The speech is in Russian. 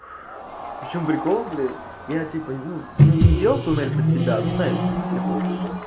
в чём прикол блин я типа не делал тоннель под себя ну знаешь типа